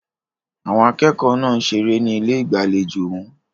Àwọn akẹ́kọ̀ọ́ náà ń ṣeré ní ilé ìgbàlejò wọn.